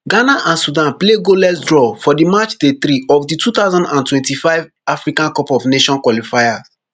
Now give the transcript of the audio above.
ghana and sudan play goalless draw for match day three of di two thousand and twenty-five africa cup of nations qualifier